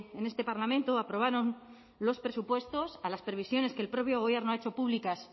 en este parlamento aprobaron los presupuestos a las previsiones que el propio gobierno ha hecho públicas